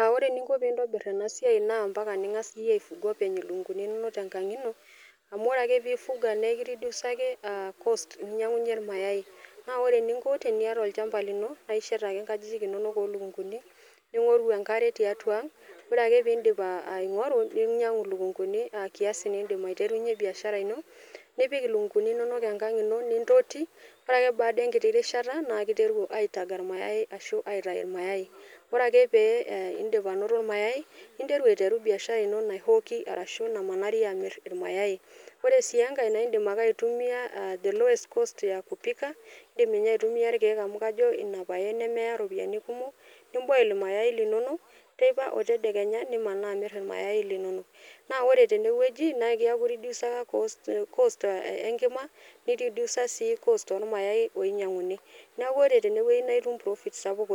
Uh ore eninko pintobirr ena siai naa ampaka ning'as iyie aifuga openy ilukunguni inonok tenkang ino amu ore ake pifuga nekiridiusaki uh cost ninyiang'unyie irmayai naa ore eninko teniata olchamba lino naa ishet ake inkajijik inonok olukunguni ning'oru enkare tiatua ang ore ake pindip uh aing'oru ning'oru ninyiang'u ilukunguni aa kiasi nindim aiterunyie biashara ino nipik ilukunguni inonok enkang ino nintoti ore ake baada enkiti rishata naa kiteru aitaga airmayai ashu aitai irmayai ore pee eh indip anoto irmayai ninteu aiteru biashara ino nae hoki arashu namanari amirr irmayai ore sii enkae naindim ake aitumia uh the lowest cost ya kupika indim ninye aitumia irkeek amu kajo ina paye nemeya iropiyiani kumok nim boil imayai linonok teipa otedakenya nimanaa amirr irmayai linonok naa ore tenewueji naa keeku irediusa cost, cost enkima niridiusa sii cost ormayai oinyiang'uni neku ore tenewueji naitum profit sapuk